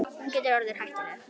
Hún getur orðið hættuleg.